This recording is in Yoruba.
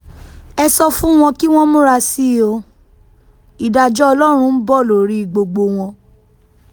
ẹ sọ fún wọn kí wọ́n múra sí i ó ìdájọ́ ọlọ́run ń bọ̀ lórí gbogbo wọn